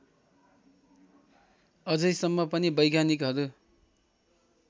अझैसम्म पनि वैज्ञानिकहरू